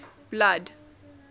blood